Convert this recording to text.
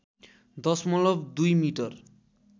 दशमलव २ मिटर